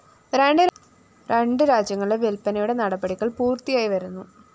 രണ്ട് രാജ്യങ്ങളിലെ വില്‍പ്പനയുടെ നടപടികള്‍ പൂര്‍ത്തിയായി വരുന്നു